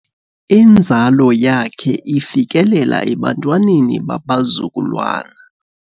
Inzalo yakhe ifikelela ebantwaneni babazukulwana.